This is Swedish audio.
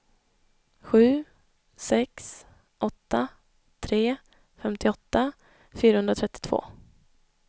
sju sex åtta tre femtioåtta fyrahundratrettiotvå